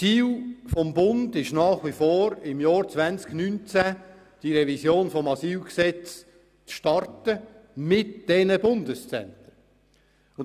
Ziel des Bundes ist nach wie vor, im Jahr 2019 die Revision des Asylgesetzes mit diesen Bundeszentren zu starten.